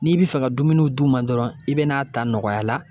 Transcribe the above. N'i bi fɛ ka dumuniw d'u ma dɔrɔn, i be n'a ta nɔgɔya la